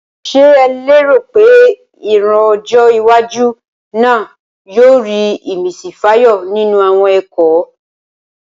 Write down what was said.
Ṣé o léèrò pé ìran ọjọ́ iwájú náà yóò rí ìmísí fàyọ nínú àwọn ẹ̀kọ́?